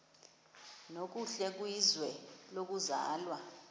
nokuhle kwizwe lokuzalwa